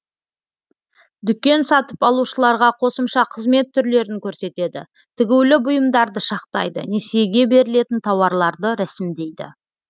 дүкен сатып алушыларға қосымша қызмет түрлерін көрсетеді тігулі бұйымдарды шақтайды несиеге берілетін тауарларды рәсімдейді